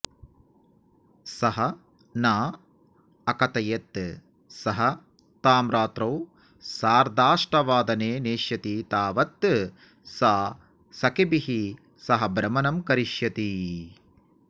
सः न अकथयत् सः तां रात्रौ सार्धाष्टवादने नेष्यति तावत् सा सखिभिः सह भ्रमणं करिष्यति